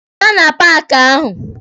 Pụta na paaki ahụ!